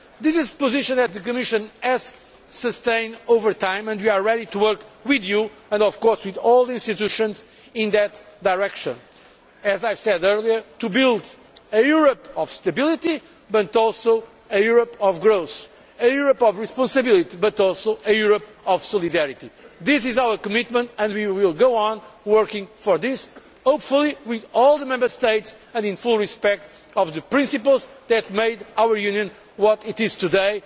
This is the position that the Commission has sustained over time and we are ready to work with you and of course with all the institutions in that direction, as I said earlier, to build a Europe of stability but also a Europe of growth, a Europe of responsibility but also a Europe of solidarity. This is our commitment and we will go on working for this, hopefully with all the Member States and in full respect of the principles that made our Union what it is